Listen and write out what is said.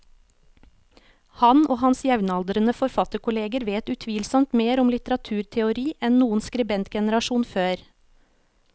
Han og hans jevnaldrende forfatterkolleger vet utvilsomt mer om litteraturteori enn noen skribentgenerasjon før.